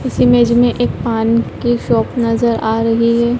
इस इमेज में एक पान की शॉप नजर आ रही हैं।